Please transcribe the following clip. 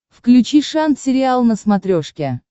включи шант сериал на смотрешке